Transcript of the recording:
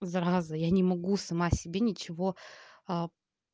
зараза я не могу сама себе ничего а